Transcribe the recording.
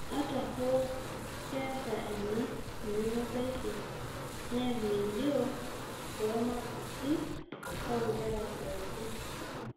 Ata hoo, keeta ena enemebaiki neak melio too makisi oonkera pookin.